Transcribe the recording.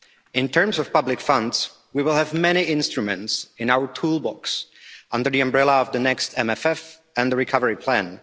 In terms of public funds, we will have many instruments in our toolbox under the umbrella of the next MFF and recovery plan.